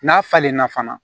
N'a falenna fana